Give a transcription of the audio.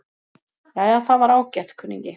Jæja, það var ágætt, kunningi.